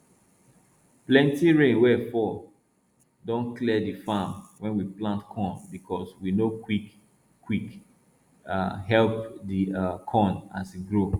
plenti rain wey fall don clear the farm wey we plant corn bcos we no quick quick um help the um corn as e grow